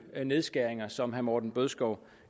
nedskæringer som herre morten bødskov